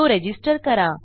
तो रजिस्टर करा